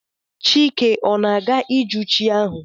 Chike ọ naga-ijụ chi ahụ?